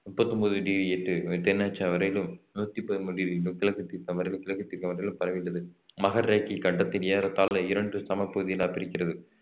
முப்பத்தி ஒன்பது டிகிரி எட்டு தென்னசம் வரையிலும் நூத்தி பதிமூணு டிகிரி கிழக்கு தீர்க்கம் வரை கிழக்கு தீர்க்கம் வரை பரவியுள்ளது மகரரேகை இக்கண்டத்தில் ஏறத்தாழ இரண்டு சமப்பகுதிகளாக பிரிக்கிறது